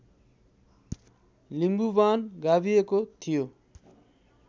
लिम्बुवान गाभिएको थियो